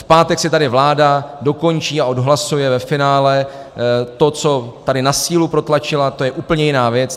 V pátek si tady vláda dokončí a odhlasuje ve finále to, co tady na sílu protlačila, to je úplně jiná věc.